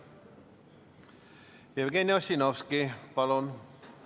Jevgeni Ossinovski, palun!